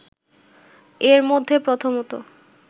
এর মধ্যে প্রথমত